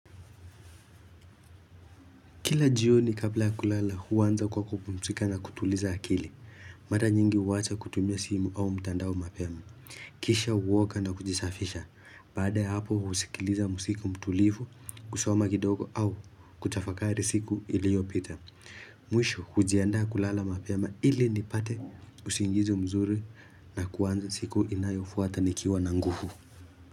Kila jioni kabla kulala huanza kwa kupumzika na kutuliza akili. Mara nyingi huacha kutumia simu au mtandao mapema. Kisha huoga na kujisafisha. Baada ya hapo husikiliza muziki mtulivu, kusoma kidogo au kutafakari siku iliyopita. Mwisho hujiandaa kulala mapema ili nipate usingizi mzuri na kuanza siku inayofuata nikiwa na nguvu.